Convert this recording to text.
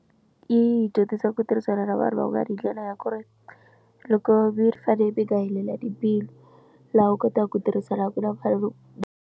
Yi dyondzisa ku tirhisana na vanhu va ku nga ri hi ndlela ya ku ri loko mi fanele mi nga helela timbilu laha u kotaka ku tirhisana ku na mfanelo.